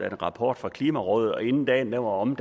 en rapport fra klimarådet og inden dagen var omme